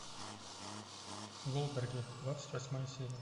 голдберги двадцать восьмая серия